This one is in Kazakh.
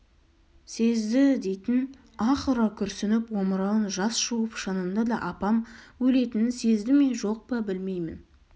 сезді-і дейтін аһ ұра күрсініп омырауын жас жуып шынында да апам өлетінін сезді ме жоқ па білмеймін